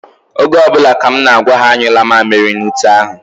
Oge ọ bụla ka m na-agwa ha anyụla mamịrị n'ute ahụ.